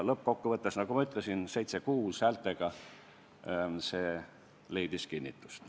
Lõppkokkuvõttes, nagu ma ütlesin, häältega 7 : 6 leidis see otsust kinnitust.